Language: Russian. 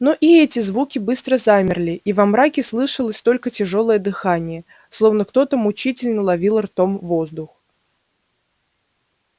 но и эти звуки быстро замерли и во мраке слышалось только тяжёлое дыхание словно кто то мучительно ловил ртом воздух